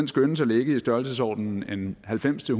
skønnes at ligge i størrelsesordenen halvfems til